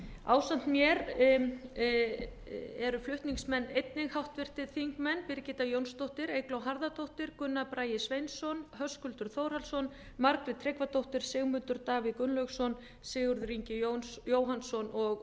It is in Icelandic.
ásamt mér eru flutningsmenn einnig háttvirtur þingmaður birgitta jónsdóttir eygló harðardóttir gunnar bragi sveinsson höskuldur þórhallsson margrét tryggvadóttir sigmundur davíð gunnlaugsson sigurður ingi jóhannsson og